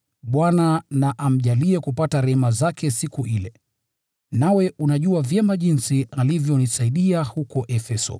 Bwana na amjalie kupata rehema zake siku ile! Nawe unajua vyema jinsi alivyonisaidia huko Efeso.